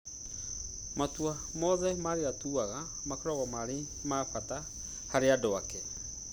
matua mothe marĩa atuaga makoragwo marĩ ma bata harĩ andũ ake